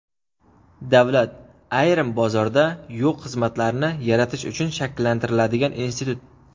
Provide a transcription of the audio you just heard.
Davlat - ayrim bozorda yo‘q xizmatlarni yaratish uchun shakllantiriladigan institut.